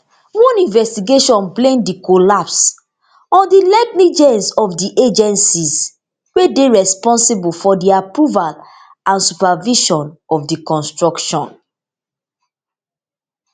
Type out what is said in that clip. one investigation blame di collapse on di negligence of di agencies wey dey responsible for di approval and supervision of di construction